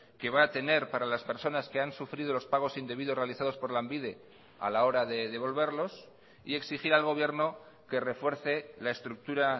que va a tener para las personas que han sufrido los pagos indebidos realizados por lanbide a la hora de devolverlos y exigir al gobierno que refuerce la estructura